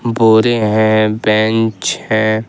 बोरे हैं बेंच है।